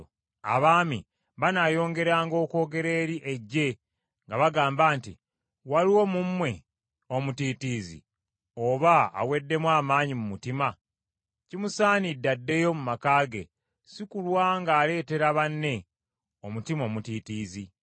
Abaami banaayongeranga okwogera eri eggye nga bagamba nti, “Waliwo mu mmwe omutiitiizi, oba aweddemu amaanyi mu mutima? Kimusaanidde addeyo mu maka ge, si kulwa ng’aleetera banne omutima omutiitiizi.”